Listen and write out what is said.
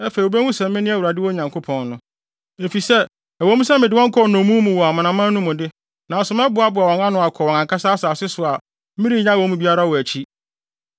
Afei wobehu sɛ mene Awurade wɔn Nyankopɔn no, efisɛ ɛwɔ mu sɛ mede wɔn kɔɔ nnommum mu wɔ amanaman no mu de, nanso mɛboaboa wɔn ano akɔ wɔn ankasa asase so a merennyaw wɔn mu biara wɔ akyi.